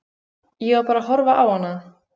Ég var bara að horfa á hana.